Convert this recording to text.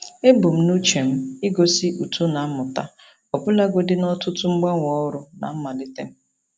Ebumnuche m igosi uto na mmụta ọbụlagodi na ọtụtụ mgbanwe ọrụ na mmalite m.